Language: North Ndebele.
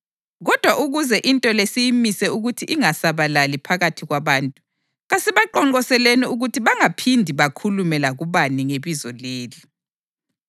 Kodwa ukuze into le siyimise ukuthi ingasabalali phakathi kwabantu, kasibaqonqoseleni ukuthi bangaphindi bakhulume lakubani ngebizo leli.”